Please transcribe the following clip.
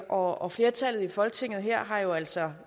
og flertallet i folketinget her har jo altså